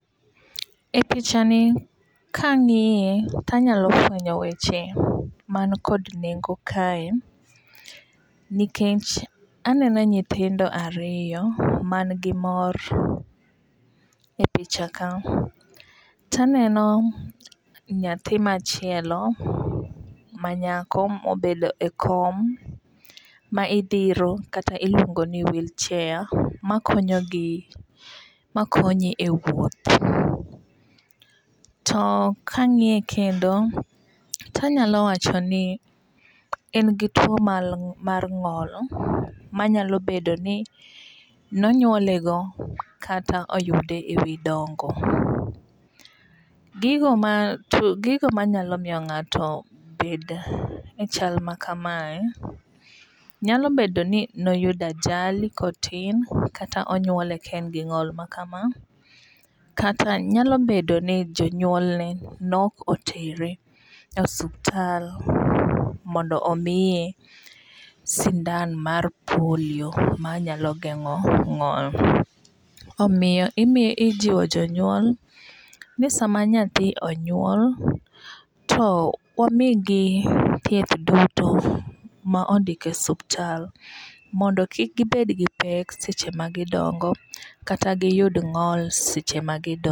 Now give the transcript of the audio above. E picha ni kang'iye tanyalo fwenyo weche man kod nengo kae. Nikech aneno nyithindo ariyo man gi mor e picha ka. Taneno nyathi machielo manyako mobedo e kom ma idhiro kata iluongo ni wheelchair makonyogi makonye e wuoth. To kang'iye kendo tanyalo wacho ni en gi tuo mar ng'ol manyalo bedo ni nonyuole go kata oyude e wi dongo. Gigo manyalo miyo ng'ato bed e chal makamae nyalo bedo ni noyudo ajali kotin kata onyuole ka en gi ng'ol makama. Kata nyalo bedo ni jonyuolne ne ok otere e osuptal mondo omiye sindan mar polio manyalo geng'o ng'ol. Omiyo ijiwo jonyuol ni sama nyathi onyuol to wamigi thieth duto ma ondikie osuptal mondo kik gibed gi pek seche ma gidongo kata giyud ng'ol seche ma gidongo.